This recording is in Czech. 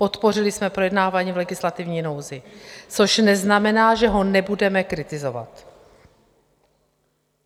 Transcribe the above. Podpořili jsme projednávání v legislativní nouzi, což neznamená, že ho nebudeme kritizovat.